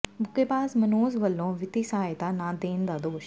ਮੁੱਕੇਬਾਜ਼ ਮਨੋਜ ਵੱਲੋਂ ਵਿੱਤੀ ਸਹਾਇਤਾ ਨਾ ਦੇਣ ਦਾ ਦੋਸ਼